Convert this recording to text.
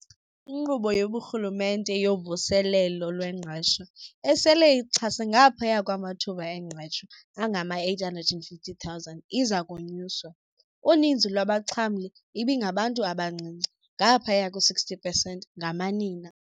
INkqubo yobuRhulumente yoVuselelo lweNgqesho, esele ixhase ngaphaya kwamathuba engqesho angama-850 000, iza konyuswa. Uninzi lwabaxhamli ibingabantu abancinci, ngaphaya kwe-60 pesenti ngamanina.